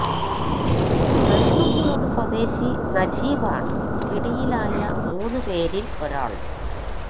മരുതുംമൂട് സ്വദേശി നജീബ് ആണ് പിടിയിലായ മൂന്ന് പേരിൽ ഒരാൾ